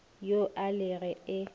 yo a le ge e